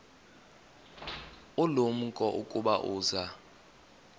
ulumko ukuba uza